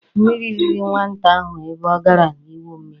Mmiri riri nwata ahụ ebe ọ gara i gwu mmiri.